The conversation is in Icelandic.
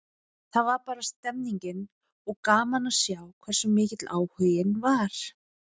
Það var bara stemmning, og gaman að sjá hversu mikill áhuginn var.